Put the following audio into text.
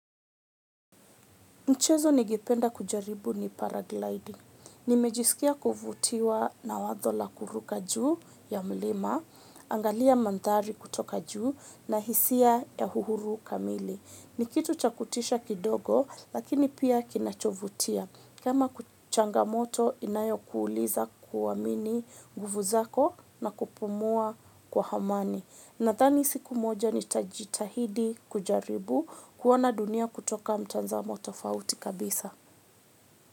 Michezo ningependa kujaribu ni paragliding. Nimejisikia kufutiwa na wazo la kuruka juu ya mlima, angalia mandari kutoka juu na hisia ya uhuru kamili. Ni kitu cha kutisha kidogo lakini pia kinachovutia. Kama changamoto inayo kuuliza kuwamini guvu zako na kupumua kwa amani. Nadhani siku moja ni tajitahidi kujaribu kuona dunia kutoka mtanzamo tofauti kabisa.